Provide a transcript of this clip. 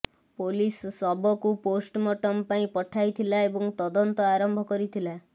police ଶବକୁ postmortem ପାଇଁ ପଠାଇଥିଲା ଏବଂ ତଦନ୍ତ ଆରମ୍ଭ କରିଥିଲା